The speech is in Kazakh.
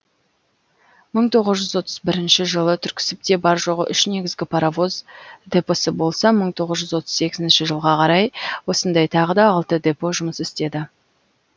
мың тоғыз жүз отыз бірінші жылы түрксібте бар жоғы үш негізгі паровоз депосы болса мың тоғыз жүз отыз сегізінші жылға қарай осындай тағы да алты депо жұмыс істеді